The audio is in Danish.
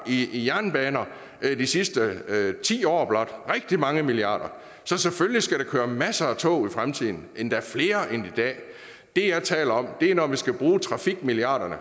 i jernbaner bare i de sidste ti år rigtig mange milliarder så selvfølgelig skal der køre masser af tog i fremtiden endda flere end i dag det jeg taler om er når vi fremadrettet skal bruge trafikmilliarderne